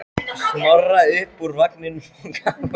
Snorra upp úr vagninum og gaf honum banana.